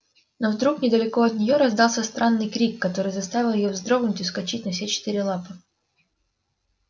но вдруг недалеко от неё раздался странный крик который заставил её вздрогнуть и вскочить на все четыре лапы